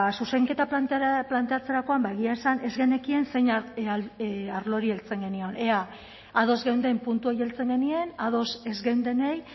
zuzenketa planteatzerakoan ba egia esan ez genekien zein arlori heltzen genion ea ados geunden puntu horiei heltzen genien ados ez geundenei